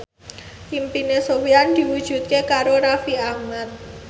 impine Sofyan diwujudke karo Raffi Ahmad